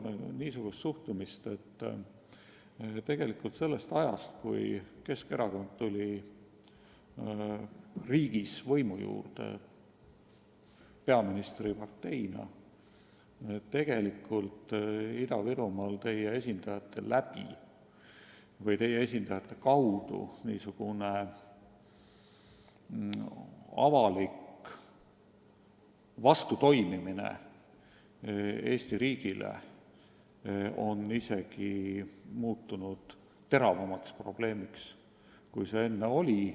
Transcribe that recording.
On nimelt tunda, et sellest ajast, kui Keskerakond tuli riigis peaministriparteina võimule, on Ida-Virumaal Keskerakonna esindajate tõttu avalik vastutöötamine Eesti riigile muutunud teravamaks probleemiks, kui see enne oli.